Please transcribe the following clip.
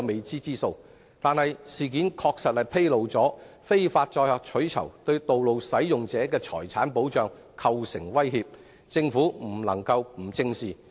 這事件確實反映非法載客取酬對道路使用者的財產構成威脅，政府不能不正視。